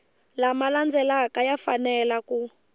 lama landzelaka ya fanele ku